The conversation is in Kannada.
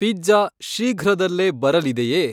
ಪಿಜ್ಜಾ ಶೀಘ್ರದಲ್ಲೇ ಬರಲಿದೆಯೇ?